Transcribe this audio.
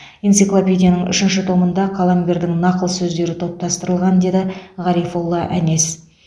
энциклопедияның үшінші томында қаламгердің нақыл сөздері топтастырылған деді ғарифолла әнес